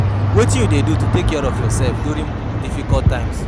wetin you dey do to take care of yourself during difficult times?